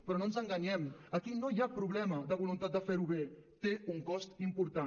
però no ens enganyem aquí no hi ha problema de voluntat de fer ho bé té un cost important